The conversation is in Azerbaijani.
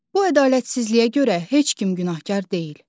Bu ədalətsizliyə görə heç kim günahkar deyil.